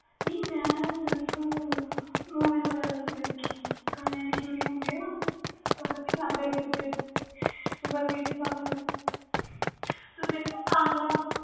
ਨਹੀਂ ਮੈਂ ਸਿਰਫ movies ਚ ਦੇਖਿਆ ਗਾਣਿਆਂ ਦੀ shoting ਹੁੰਦੀ ਤੇ ਦਿਖਦੇ ਵ ਪਿੱਛੇ ਪਹਾੜ ਬਰਫੀਲੇ ਪਹਾੜ